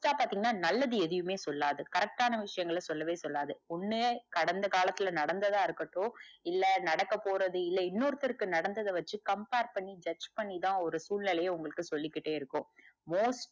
most டா பாத்திங்கனா நல்லது எதுமே சொல்லாது correct டான விஷயங்கள சொல்லவே சொல்லாது ஒன்னு கடந்த காலத்துல நடந்ததா இருக்கட்டும் இல்ல நடக்க போறது இல்ல இன்னோருத்தருக்கு நடந்தத வச்சி compare பண்ணி judge பண்ணிதா ஒரு சூழ்நிலைய உங்களுக்கு சொல்லிகிட்டே இருக்கு. most